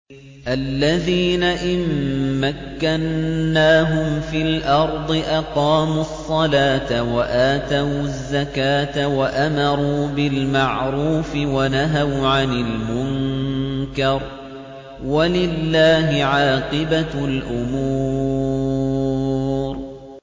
الَّذِينَ إِن مَّكَّنَّاهُمْ فِي الْأَرْضِ أَقَامُوا الصَّلَاةَ وَآتَوُا الزَّكَاةَ وَأَمَرُوا بِالْمَعْرُوفِ وَنَهَوْا عَنِ الْمُنكَرِ ۗ وَلِلَّهِ عَاقِبَةُ الْأُمُورِ